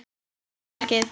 Kóróna verkið.